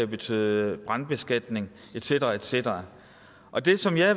betyde brandbeskatning et cetera et cetera og det som jeg